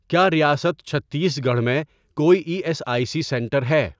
کیا ریاست چھتیس گڑھ میں کوئی E S I C centre ہے؟